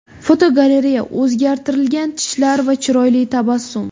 Fotogalereya: O‘zgartirilgan tishlar va chiroyli tabassum.